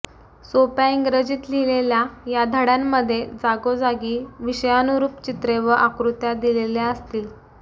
सोप्या इंग्रजीत लिहिलेल्या या धडय़ांमध्ये जागोजागी विषयानुरूप चित्रे व आकृत्या दिलेल्या असतील